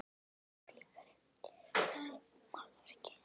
Þú ert líkari þessu málverki en hann.